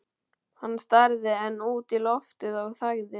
Hann starði enn út í loftið og þagði.